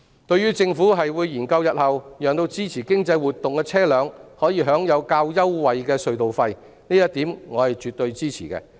對於政府表示會研究日後讓支持經濟活動的車輛可享有較優惠的隧道費，我是絕對支持的。